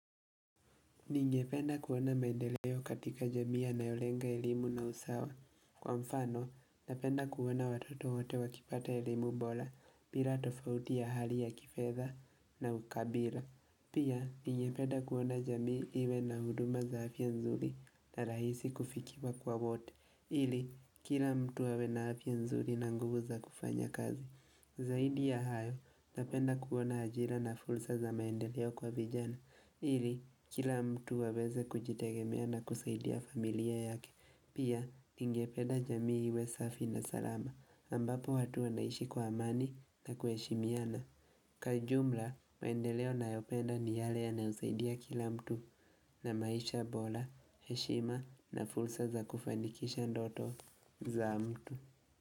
Ningependa kuona maendeleo katika jamii anayolenga elimu na usawa. Kwa mfano, napenda kuona watoto wote wakipata elimu bora, bila tofauti ya hali ya kifedha na ukabila. Pia, ningependa kuona jamii iwe na huduma za afya nzuri na rahisi kufikiwa kwa wote. Ili kila mtu awe na afya nzuri na nguvu za kufanya kazi. Zaidi ya hayo, napenda kuona ajira na fursa za maendeleo kwa vijana ili kila mtu aweze kujitegemea na kuzaidia familia yake. Pia, ningependa jamii iwe safi na salama ambapo watu wanaishi kwa amani na kuheshimiana Kwa ujumla, maendeleo nayopenda ni yale yanayozaidia kila mtu na maisha bora, heshima na fursa za kufanikisha ndoto za mtu.